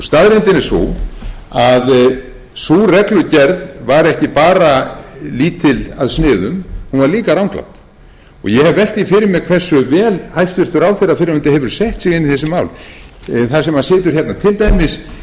staðreyndin er sú að sú reglugerð var ekki bara lítil að sniðum hún var líka ranglát ég hef velt því fyrir mér hversu vel hæstvirtur ráðherra fyrrverandi hefur sett sig inn i þessi mál það sem situr hérna til dæmis